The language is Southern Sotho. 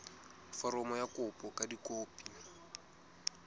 foromo ya kopo ka dikopi